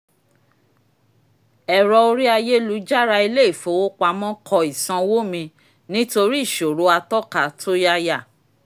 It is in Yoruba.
ẹ̀rọ orí ayélujára ilé-ifowopamọ́ kọ́ ìsanwó mi nítorí ìṣòro àtọka tó yáyà